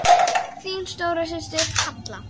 Þín stóra systir, Halla.